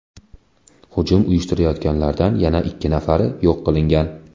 Hujum uyushtirganlardan yana ikki nafari yo‘q qilingan.